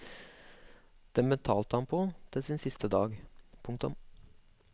Den betalte han på til sin siste dag. punktum